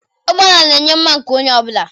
Ụgbọ ala na-enye mma nke onye ọ bụla.